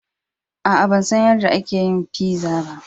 Aa, ban san yarde aka yin pizza ba.